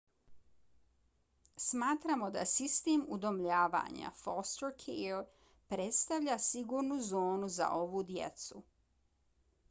smatramo da sistem udomljavanja foster care predstavlja sigurnu zonu za ovu djecu